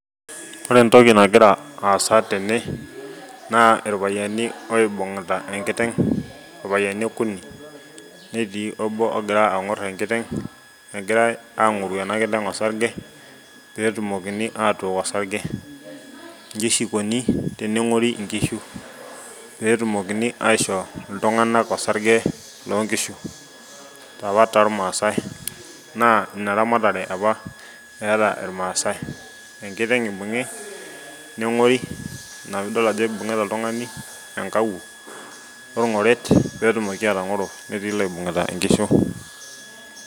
Ore entoki nagira asa tene naa ilpayiani oibugita enkiteg ilpayiani okuni nemetii obo ogira angor enkiteg egirae aangoru ena kiteng osarge pee etumokini aatook osarge iji oshi ikoni tenengori inkishu pee etumokini aishoo iltunganaka osarge loonkishu. Ore apa tolmaasae naa inaramatare ama eeta ilmaasae enkiteng ibungi nengori ina pee idol ajo ibungitaa oltungani enkawuo oolgoret pee etumoki atangoro netii iloibungita inkishu.